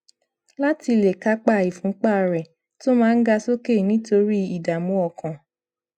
láti lè kápá ìfúnpá rè tó máa ń ga sókè nítorí ìdààmú ọkàn